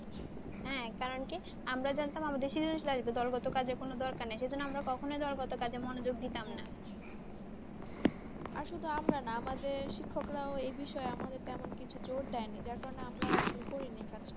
হ্যাঁ, কারণ কি আমরা জানতাম আমাদের সেই দলগত কাজের কোনও দরকার নেই। সেই জন্য আমরা কখনই দলগত কাজে মনোযোগ দিতাম না। আর শুধু আমরা না আমাদের শিক্ষকরা ও এই বিষয়ে আমাদের তেমন কিছু জোর দেয়নি, যার কারণে আমরা ও আসলে করিনি।